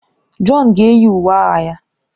John ga-eyi uwe agha ya.